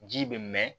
Ji bɛ mɛn